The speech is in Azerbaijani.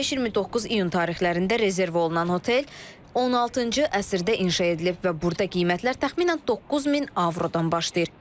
25-29 iyun tarixlərində rezerv olunan otel 16-cı əsrdə inşa edilib və burda qiymətlər təxminən 9000 avrodan başlayır.